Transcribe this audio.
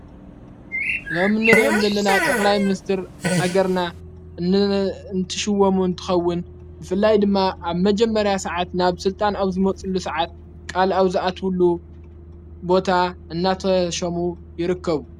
ዞም ንርእኦም ዘለና ጠቕላይ ምንስትር ሃገርና እንትሽወሙ እንትኸውን ብፍላይ ድማ ኣብ መጀመርያ ሰዓት ናብ ሥልጣን ኣብ ዝመጽሉ ሰዓት ቃል ኣብ ዝኣትዉሉ ቦታ እናተሾሙ ይርከቡ።